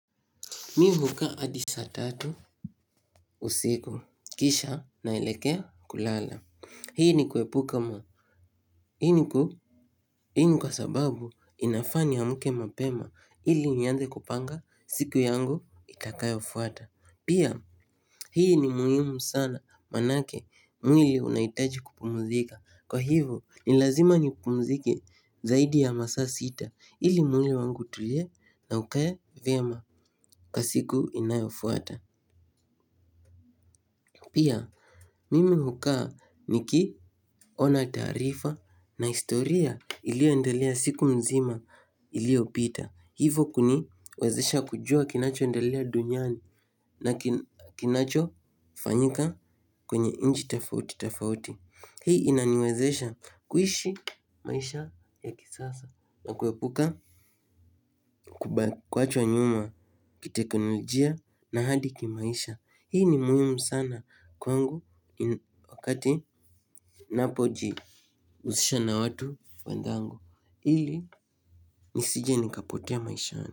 Mi hukaa adi saa tatu usiku. Kisha naelekea kulala. Hii ni kuepuka ma. Hii ni ku. Hii ni kwa sababu inafaa niamke mapema. Ili nianze kupanga siku yangu itakayofuata. Pia, hii ni muhimu sana manake mwili unaitaji kupumuzika. Kwa hivo ni lazima ni pumzike zaidi ya masaa sita. Ili mwili wangu utulie na ukaye vyema kwa siku inayofuata. Pia, mimi hukaa nikiona taarifa na historia ilio endelea siku mzima ilio pita. Hivo kuni wezesha kujua kinacho endelea duniani na kinacho fanyika kwenye inchi tafauti tafauti. Hii inaniwezesha kuishi maisha ya kisasa na kuepuka kuachwa nyuma kiteknolojia na hadi kimaisha. Hii ni muhimu sana kwangu wakati napoji usisha na watu wenzangu. Ili nisije nikapotea maishani.